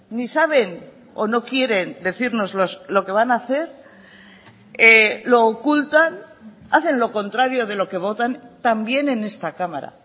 ni saben o no quieren decirnos lo que van a hacer lo ocultan hacen lo contrario de lo que votan también en esta cámara